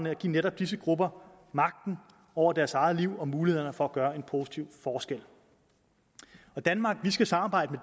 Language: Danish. at give netop disse grupper magten over deres eget liv og mulighed for at gøre en positiv forskel danmark skal samarbejde